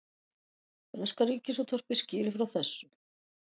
Breska ríkisútvarpið skýrir frá þessu